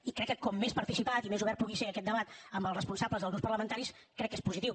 i crec que com més participat i més obert pugui ser aquest debat amb els responsables dels grups parlamentaris crec que és positiu